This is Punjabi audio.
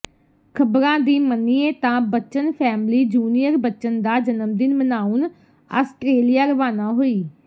ਖਬਰਾਂ ਦੀ ਮੰਨੀਏ ਤਾਂ ਬੱਚਨ ਫੈਮਿਲੀ ਜੂਨੀਅਰ ਬੱਚਨ ਦਾ ਜਨਮਦਿਨ ਮਨਾਉਣ ਆਸਟ੍ਰੇਲੀਆ ਰਵਾਨਾ ਹੋਈ